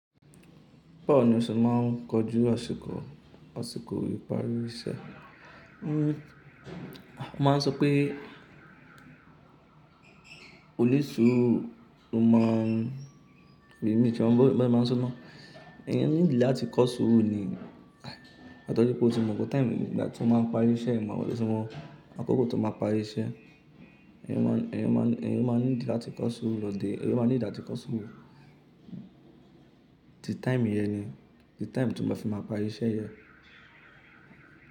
Báwo ni o ṣe máa ń kojú àsìkò? Àsìkò ìparí iṣẹ́. A máa ń sọ pé onisuuru ló má ń rí ìmítí wọn bí wọ́n bá máa ń sọ ná. Ẹyan need láti kọ́ sùuru ni, àtọ wipe ọ̀ tí mo mọ pe time nígbà tí wọ́n máa ń parí iṣẹ́, ìwọ àwọn so fún wọn, àkókò tí wọ́n máa parí iṣẹ́. Ẹ̀yan máa need láti kọ́ sùú lọ di, ẹ̀yin máa need áti kọ́ sùrú. Ti time yẹn ni, ti time tí wọ́n bá fi máa parí iṣẹ́ yẹn.